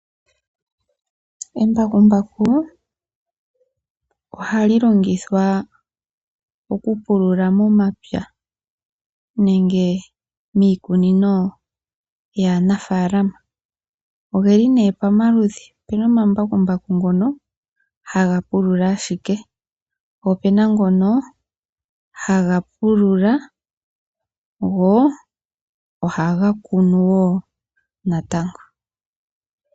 Embakumbaku ohali longithwa oku pulula momapya, nenge miikunino yaa nafalama. ogeli nee pamaludhi opena omambakumbaku ngono haga pulula ashike po opena ngono haga pulula go ohaga kunu woo natango.